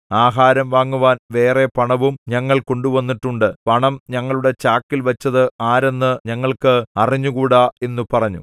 ആഹാരം വാങ്ങുവാൻ വേറെ പണവും ഞങ്ങൾ കൊണ്ടുവന്നിട്ടുണ്ട് പണം ഞങ്ങളുടെ ചാക്കിൽ വച്ചത് ആരെന്ന് ഞങ്ങൾക്ക് അറിഞ്ഞുകൂടാ എന്നു പറഞ്ഞു